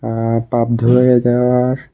আঃ পাপ ধুলায়ে দেওয়ার--